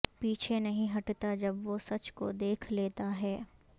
پیچھے نہیں ہٹتا جب وہ سچ کو دیکھ لیتا ہے